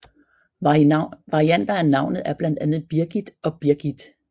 Varianter af navnet er blandt andet Birgith og Birgitt